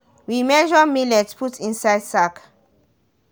we measure millet put inside sack.